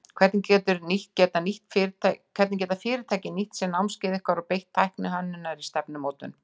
Hvernig geta fyrirtæki nýtt sér námskeið ykkar og beitt tækni hönnunar í stefnumótun?